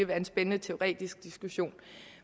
være en spændende teoretisk diskussion